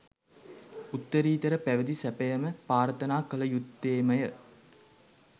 උත්තරීතර පැවිදි සැපයම ප්‍රාර්ථනා කළ යුත්තේමය.